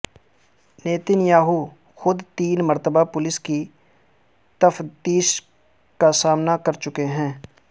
Nitin Yahoo خود تین مرتبہ پولیس کی تفتیش کا سامنا کر چکے ہیں